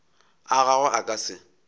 a gagwe a ka se